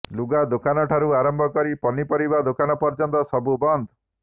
ଲୁଗା ଦୋକାନଠାରୁ ଆରମ୍ଭ କରି ପନିପରିବା ଦୋକାନ ପର୍ଯ୍ୟନ୍ତ ସବୁ ବନ୍ଦ